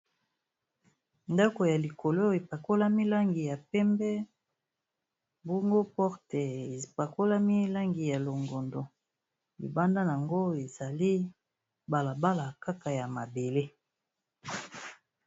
Ndako ya likolo epakolami langi ya pembe, bongo porte epakolami langi ya longondo. Libanda nango ezali bala bala kaka ya mabele.